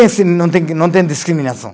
Não tem, que não tem discriminação?